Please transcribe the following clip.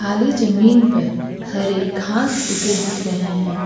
खाली जमीन पर हरे घास उगे दिख रहे हैं।